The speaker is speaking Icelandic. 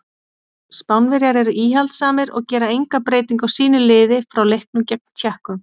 Spánverjar eru íhaldssamir og gera enga breytingu á sínu liði frá leiknum gegn Tékkum.